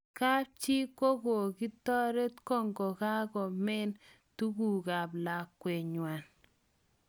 Kapchi kokokitaret kokokamen takukut ap lakwet kwan